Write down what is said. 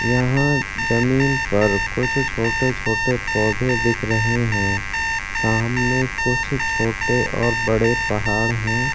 यहाँ जमीन पर कुछ छोटे-छोटे पौधे दिख रहे हैं सामने कुछ छोटे और बड़े पहाड़ है।